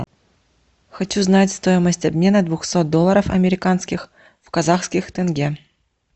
хочу знать стоимость обмена двухсот долларов американских в казахских тенге